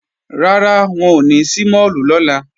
Rárá, wọn ò ní ṣí máàlù lọ́la